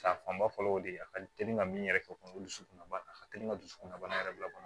Sa fanba fɔlɔ o de ye a ka teli ka min yɛrɛ kɛ o ye dusukunbana ye a ka teli ka dusukunbana yɛrɛ bila kɔnɔ